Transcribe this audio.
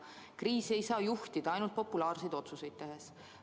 Kriisi ei saa juhtida ainult populaarseid otsuseid tehes.